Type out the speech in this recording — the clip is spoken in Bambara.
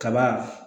Kaba